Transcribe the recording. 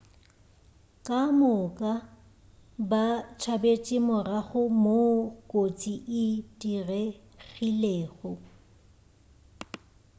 ka moka ba tšabetše morago moo kotsi e diregilego